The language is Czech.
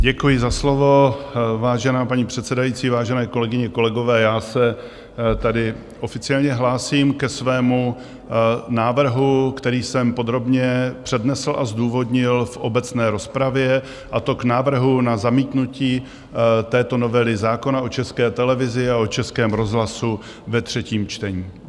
Děkuji za slovo, vážená paní předsedající, vážené kolegyně, kolegové, já se tady oficiálně hlásím ke svému návrhu, který jsem podrobně přednesl a zdůvodnil v obecné rozpravě, a to k návrhu na zamítnutí této novely zákona o České televizi a o Českém rozhlasu ve třetím čtení.